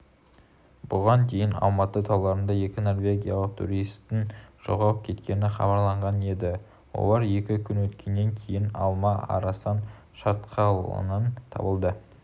бұған дейін алматы тауларында екі норвегиялық туристің жоғалып кеткені хабарланған еді олар екі күн өткеннен кейін алма-арасан шатқалынан табылды